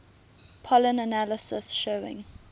pollen analysis showing